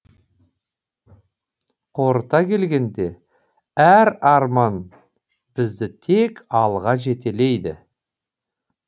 қорыта келгенде әр арман бізді тек алға жетелейді